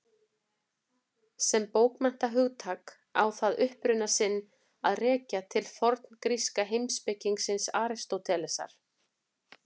Sem bókmenntahugtak á það uppruna sinn að rekja til forngríska heimspekingsins Aristótelesar.